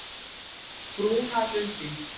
Brúnalundi